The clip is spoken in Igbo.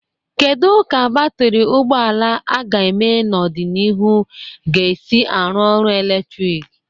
Kedu ka batrị ụgbọ ala ga-eme n'ọdịnihu ga-esi arụ ọrụ eletrik?